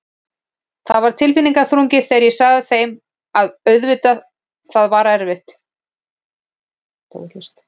Það var tilfinningaþrungið þegar ég sagði þeim og auðvitað það var erfitt.